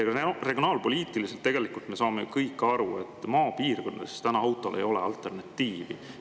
Kui me vaatame regionaalpoliitiliselt, siis tegelikult me saame kõik aru, et maapiirkondades autole alternatiivi ei ole.